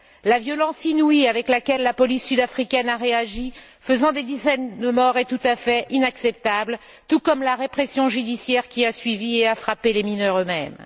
La violence inouïe avec laquelle la police sud africaine a réagi, faisant des dizaines de morts, est tout à fait inacceptable, tout comme la répression judiciaire qui a suivi et qui a frappé les mineurs eux mêmes.